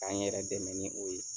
K'an yɛrɛ dɛmɛ ni o ye.